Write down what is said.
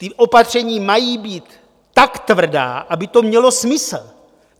Ta opatření mají být tak tvrdá, aby to mělo smysl.